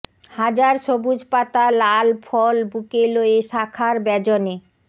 হাজার সবুজ পাতা লাল ফল বুকে লয়ে শাখার ব্যজনে